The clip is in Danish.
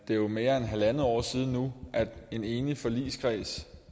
jo mere end halvandet år siden nu at en enig forligskreds